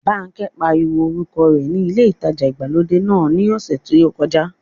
Bánkẹ́ pariwo orúkọ rẹ ní ilé ìtajà ìgbàlódé náà ní ọ̀sẹ̀ tí ó kọjá